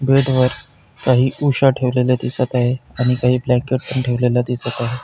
Bed वर काही उशा ठेवलेल्या दिसत आहेत आणि काही ब्लँकेट पण ठेवलेल्या दिसत आहेत.